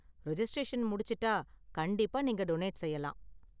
Registration முடிச்சிட்டா, கண்டிப்பா நீங்க டொனேட் செய்யலாம்.